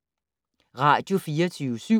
Radio24syv